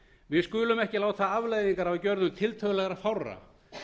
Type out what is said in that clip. við skulum ekki láta afleiðingar af gjörðum tiltölulega fárra